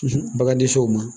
Bagan tɛ s'o ma